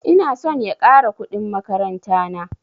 Ina son ya ƙara kuɗin makaranta na